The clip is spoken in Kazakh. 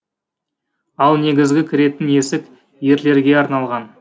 ал негізгі кіретін есік ерлерге арналған